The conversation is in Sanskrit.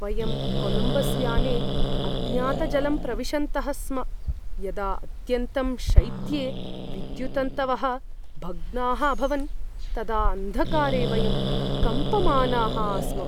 वयं कोलम्बस् याने अज्ञातजलं प्रविशन्तः स्म यदा अत्यन्तं शैत्ये विद्युत्तन्तवः भग्नाः अभवन्, तदा अन्धकारे वयं कम्पमानाः आस्म।